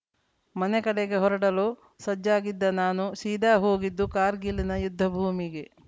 ಮನೆ ಕಡೆಗೆ ಹೊರಡಲು ಸಜ್ಜಾಗಿದ್ದ ನಾನು ಸೀದಾ ಹೋಗಿದ್ದು ಕಾರ್ಗಿಲ್‌ನ ಯುದ್ಧಭೂಮಿಗೆ